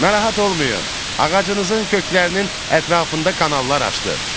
Narahat olmayın, ağacınızın köklərinin ətrafında kanallar açdıq.